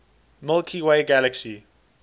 milky way galaxy